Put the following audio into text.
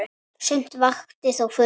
Sumt vakti þó furðu.